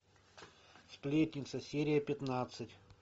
сплетница серия пятнадцать